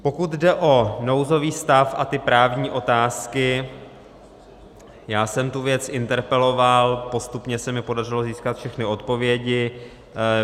Pokud jde o nouzový stav a ty právní otázky, já jsem tu věc interpeloval, postupně se mi podařilo získat všechny odpovědi.